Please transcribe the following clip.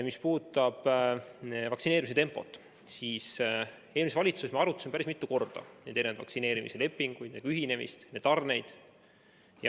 Mis puudutab vaktsineerimise tempot, siis eelmises valitsuses me arutasime päris mitu korda neid vaktsineerimise lepinguid, nendega ühinemist ja tarneid.